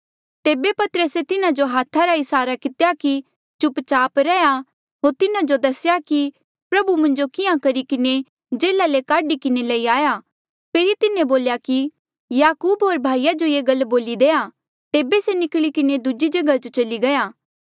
तेबे पतरसे तिन्हा जो हाथा रा इसारा कितेया कि चुप चाप रैहया होर तिन्हा जो दसेया कि प्रभु मुंजो किहाँ करी किन्हें जेल्हा ले काढी किन्हें लई आया फेरी तिन्हें बोल्या कि याकूब होर भाईया जो ये गल बोली देआ तेबे से निकली किन्हें दूजी जगहा जो चली गया